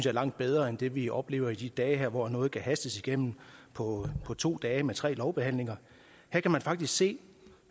er langt bedre end det vi oplever i de her dage hvor noget kan hastes igennem på to dage med tre lovbehandlinger her kan vi faktisk se